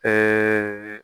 Ɛɛ